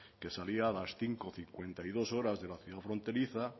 que salía a las cinco cincuenta y dos horas de la ciudad fronteriza